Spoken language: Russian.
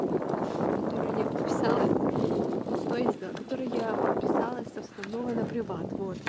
ой господи который я подписалась что я сделала которой я подписалась с основного на приват вот